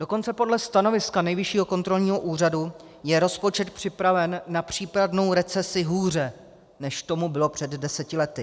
Dokonce podle stanoviska Nejvyššího kontrolního úřadu je rozpočet připraven na případnou recesi hůře, než tomu bylo před deseti lety.